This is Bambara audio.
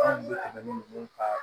Anw bɛ tɛmɛ ni ka